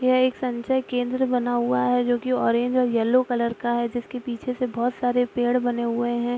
यह एक संचय केंद्र बना हुआ है जो कि ऑरेंज और येलो कलर का है जिसके पीछे से बहुत सारे पेड़ बने हुए है।